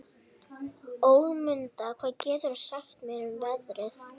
Ögmunda, hvað geturðu sagt mér um veðrið?